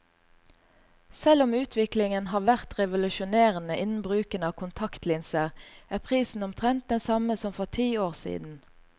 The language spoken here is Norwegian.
Selv om utviklingen har vært revolusjonerende innen bruken av kontaktlinser, er prisen omtrent den samme som for ti år siden.